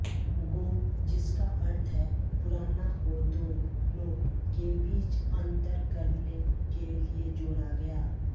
गो जिसका अर्थ है पुराना को दोनों के बीच अंतर करने के लिए जोड़ा गया